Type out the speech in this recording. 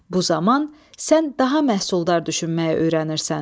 Bu zaman sən daha məhsuldar düşünməyi öyrənirsən.